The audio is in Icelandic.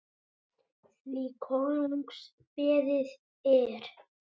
því konungs beðið er